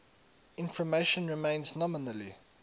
information remains nominally